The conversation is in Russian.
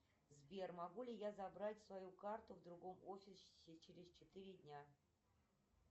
сбер могу ли я забрать свою карту в другом офисе через четыре дня